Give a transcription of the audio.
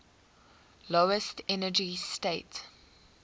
lowest energy state